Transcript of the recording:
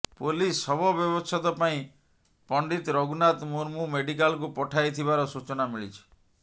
police ଶବ ବ୍ୟବଛେଦ ପାଇଁ ପଣ୍ଡିତ ରଘୁନାଥ ମୁର୍ମୁ ମେଡିକାଲକୁ ପଠାଇ ଥିବାର ସୂଚନା ମିଳିଛି